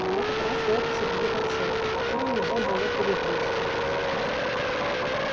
на этот раз его посадили на цепь которую нельзя было перегрызть